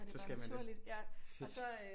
Så skal man det fedt